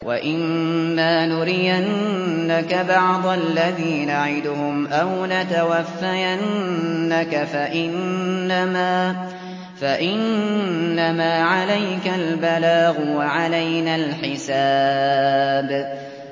وَإِن مَّا نُرِيَنَّكَ بَعْضَ الَّذِي نَعِدُهُمْ أَوْ نَتَوَفَّيَنَّكَ فَإِنَّمَا عَلَيْكَ الْبَلَاغُ وَعَلَيْنَا الْحِسَابُ